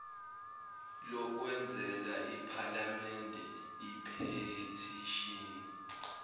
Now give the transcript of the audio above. lokwenzela iphalamende iphethishini